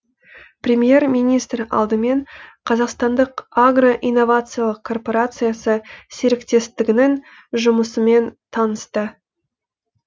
премьер министр алдымен қазақстандық агро инновациялық корпорациясы серіктестігінің жұмысымен танысты